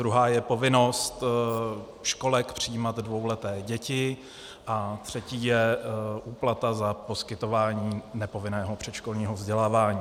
Druhá je povinnost školek přijímat dvouleté děti a třetí je úplata za poskytování nepovinného předškolního vzdělávání.